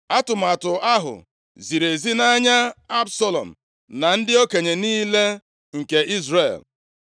Atụmatụ ahụ ziri ezi nʼanya Absalọm na ndị okenye niile nke Izrel. + 17:4 Ha nabatara atụmatụ ahụ